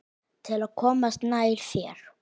Til að komast nær þér.